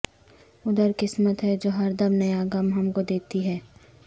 ادھر قسمت ہے جو ہر دم نیا غم ہم کو دیتی ہے